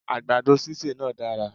Àgbàdo sísè náá dára